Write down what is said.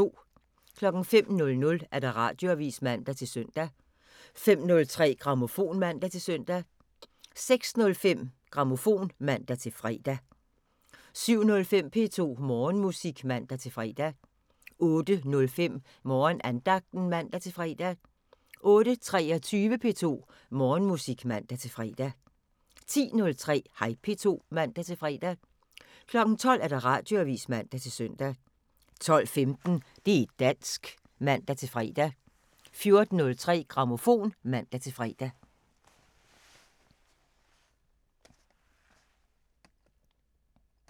05:00: Radioavisen (man-søn) 05:03: Grammofon (man-søn) 06:05: Grammofon (man-fre) 07:05: P2 Morgenmusik (man-fre) 08:05: Morgenandagten (man-fre) 08:23: P2 Morgenmusik (man-fre) 10:03: Hej P2 (man-fre) 12:00: Radioavisen (man-søn) 12:15: Det' dansk (man-fre) 14:03: Grammofon (man-fre)